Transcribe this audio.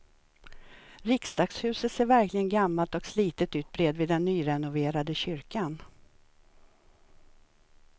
Riksdagshuset ser verkligen gammalt och slitet ut bredvid den nyrenoverade kyrkan.